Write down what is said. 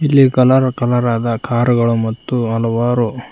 ಇಲ್ಲಿ colour colour ಅದ ಕಾರುಗಳು ಮತ್ತು ಹಲವಾರು--